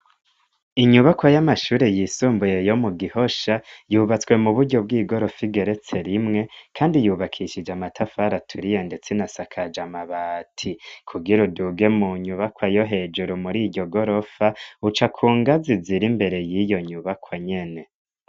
Inyubakwa y'amashure yisumbuye yo mu Gihosha yubatswe mu buryo bw'igorofa igeretse rimwe kandi yubakishije amatafari aturiye ndetse inasakaje amabati, kugira uduge mu nyubakwa yo hejuru muri iryo gorofa, uca ku ngazi ziri imbere y'iyo nyubakwa nyene.